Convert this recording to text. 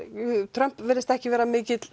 Trump virðist ekki vera mikill